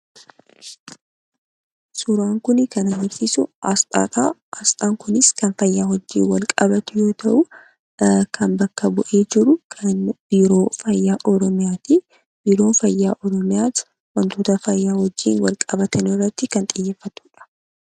Suuraan Kun kan agarsiisu, asxaadha. Asxaan kunis kan fayyaa wajjin wal qabatu yoo ta'u , kan bakka bu'ee jiru biiroo fayyaa Oromiyaatii. Biiroon fayyaa oromiyatu waantota fayyaa wajjin wal qabatan irratti kan xiyyeeffatuudha.